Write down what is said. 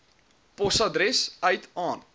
posorders uit aan